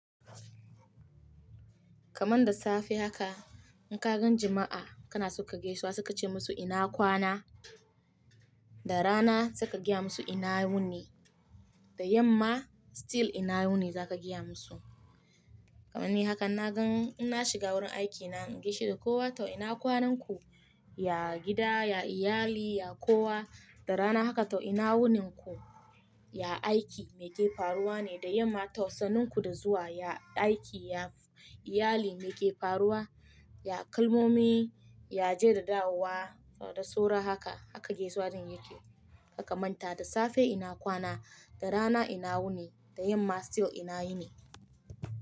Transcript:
Kaman da safe haka in ka gan jima'a kana suka geswa suka ce musu ina kwana, da rana suka gaya musu ina wuni, da yamma still ina wuni za ka gaya musu. Kamanni haka na gan ina shiga wurin aikina in gaishe da kowa tau ina kwanan ku, ya gida, ya iyali, ya kowa, da rana haka tau ina wunin ku, ya aiki mai ke faruwa ne, da yamma sannunku da zuwa ya aiki, ya iyali mai ke faruwa, ya kalmomi, ya jera da hawa da soro haka, haka gaisuwalin yake. Kaka manta da safe ina kwana, da rana ina wuni, da yamma still ina wuni.